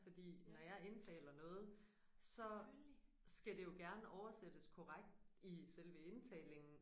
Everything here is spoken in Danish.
Fordi når jeg indtaler jeg noget så skal det jo gerne oversættes korrekt i selve indtalingen